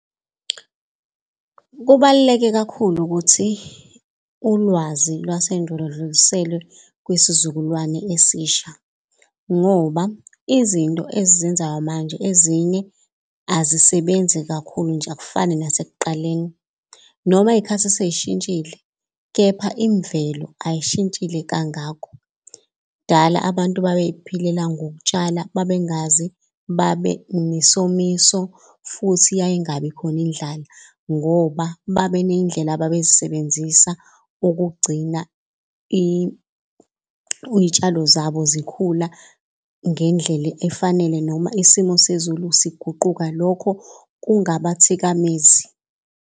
Kubaluleke kakhulu ukuthi ulwazi lwasendulo ludluliselwe kwisizukulwane esisha ngoba izinto esizenzayo manje ezinye azisebenzi kakhulu nje akufani nasekuqaleni. Noma iy'khathi sey'shintshile, kepha imvelo ayishintshile kangako. Kudala abantu babey'philela ngokutshala babengazi, babenesomiso futhi yayingakabi khona indlala. Ngoba baneyindlela ababey'sebenzisa ukugcina iy'tshalo zabo zikhula ngendlela efanele noma isimo sezulu siguquka, lokho kungaba thikamezi.